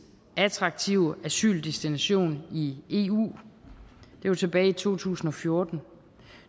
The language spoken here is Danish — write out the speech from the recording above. attraktive asyldestination i eu det var tilbage i to tusind og fjorten